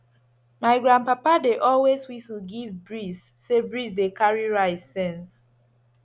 my grandpapa dey always whistle give breeze say breeze dey carry rice sense